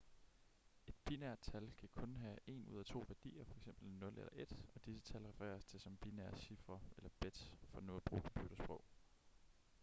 et binært tal kan kun have en ud af to værdier f.eks 0 eller 1 og disse tal refereres til som binære cifre eller bits for nu at bruge computersprog